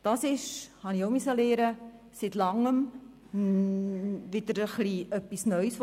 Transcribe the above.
Was da aufgekommen ist, so musste ich auch lernen, ist seit Langem wieder mal etwas Neues.